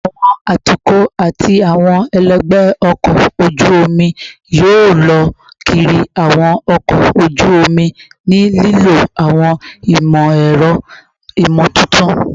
Awọn atukọ ati awọn ẹlẹgbẹ ọkọ oju omi yoo lọ kiri awọn ọkọ oju omi ni lilo awọn imọ-ẹrọ imotuntun